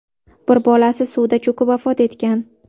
Bir bolasi suvda cho‘kib vafot etgan.